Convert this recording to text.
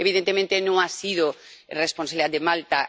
Evidentemente, no ha sido responsabilidad de Malta.